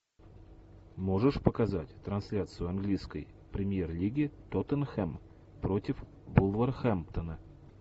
можешь показать трансляцию английской премьер лиги тоттенхэм против вулверхэмптона